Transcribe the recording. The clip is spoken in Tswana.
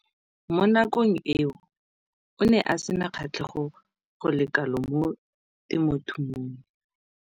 Mo nakong eo o ne a sena kgatlhego go le kalo mo temothuong.